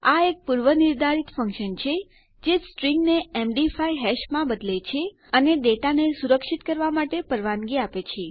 આ એક પૂર્વનિર્ધારિત ફંક્શન છે જે સ્ટ્રીંગને એમડી5 હેશમાં બદલે છે અને ડેટા ને સુરક્ષિત કરવાં માટે પરવાનગી આપે છે